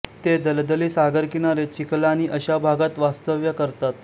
ते दलदली सागरकिनारे चिखलाणी अश्या भागात वास्तव्य करतात